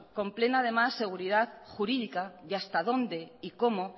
con plena seguridad jurídica de hasta dónde y cómo